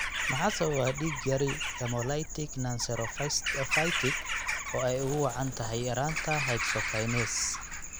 Maxaa sababa dig yari hemolytic nonspherocytic oo ay ugu wacan tahay yaraanta hexokinase?